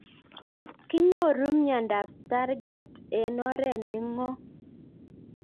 Kinyoru miondop Stargardt eng'oret ne ng'om